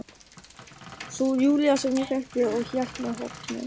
Sú Júlía sem ég þekkti og hélt mér horfna.